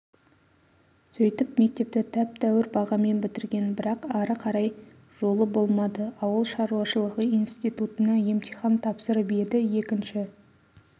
сөйтіп мектепті тәп-тәур бағамен бітірген бірақ ары қарай жолы болмады ауылшаруашылығы институтына емтихан тапсырып еді екінші